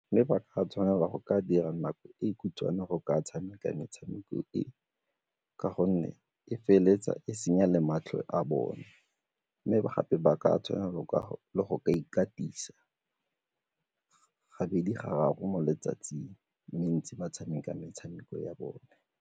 Mme ba ka tshwanela go ka dira nako e khutshwane go ka tshameka metshameko e ka gonne e feleletsa e senya le matlho a bone mme gape ba ka tshwanelo le go ka ikatisa gabedi gararo mo letsatsing ba tshameka metshameko ya bone.